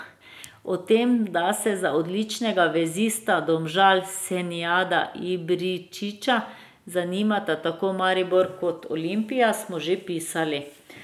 O tem, da se za odličnega vezista Domžal Senijada Ibričića zanimata tako Maribor kot Olimpija smo že pisali.